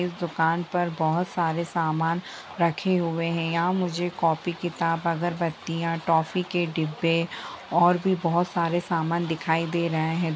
इस दुकान पर बहोत सारे समान रखे हुए है यहाँ मुझे कॉपी किताब अगरबत्तिया टॉफी के डिब्बे और भी बहोत सारे सामान दिखाई दे रहे है।